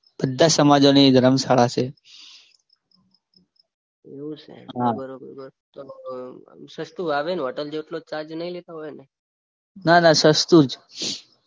બધા સમાજોની ધરમશાળા છે એવું છે તો બરોબર સસ્તું આવે ને હોટલ જેટલો જ ચાર્જ નહીં લેતા હોય ને